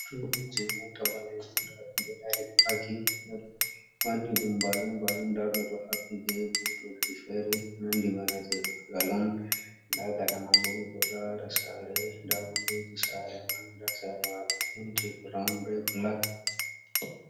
Turmiji ɓe mota ɓalejum nda ɗum ɗo dari paki ɓeɗo wanni ɗum balum balum nda ɓe ɗo haɓɓi be butolji fere nandi bana je bangalon nda gaɗa man bo mi do lara sare nda windoji sare man nda sare man ɗo penti brown be black.